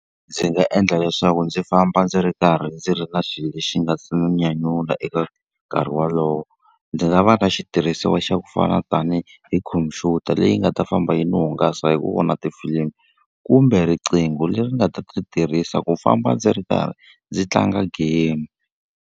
Ndzi nga endla leswaku ndzi famba ndzi ri karhi ndzi ri na xilo lexi nga si nyanyula eka nkarhi wolowo. Ndzi nga va na xitirhisiwa xa ku fana tanihi hi khompyuta leyi nga ta famba yi ndzi hungasa hi ku vona tifilimi, kumbe riqingho leri nga ta ri tirhisa ku famba ndzi ri karhi ndzi tlanga game.